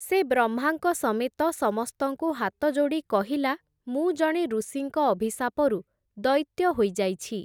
ସେ ବ୍ରହ୍ମାଙ୍କ ସମେତ ସମସ୍ତଙ୍କୁ ହାତଯୋଡ଼ି କହିଲା, ମୁଁ ଜଣେ ଋଷିଙ୍କ ଅଭିଶାପରୁ, ଦୈତ୍ୟ ହୋଇଯାଇଛି ।